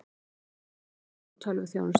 Yfirlýsing frá tölvuþjónustu